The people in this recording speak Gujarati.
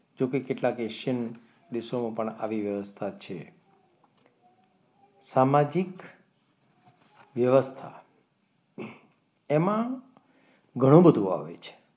જોકે કેટલાક એશિયન દેશોમાં પણ આવી વ્યવસ્થા છે સામાજિક વ્યવસ્થા એમાં ઘણું બધું આવે છે.